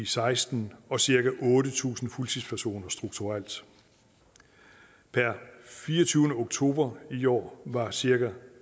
seksten og cirka otte tusind fuldtidspersoner strukturelt per fireogtyvende oktober i år var cirka